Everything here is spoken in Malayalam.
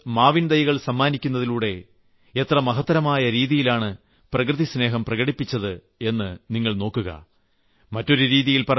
വിവാഹത്തിന് വന്നവർക്ക് മാവിൻതൈകൾ സമ്മാനിക്കുന്നതിലൂടെ എത്ര മഹത്തരമായ രീതിയിലാണ് പ്രകൃതിസ്നേഹം പ്രകടിപ്പിച്ചത് എന്ന് നിങ്ങൾ നോക്കുവിൻ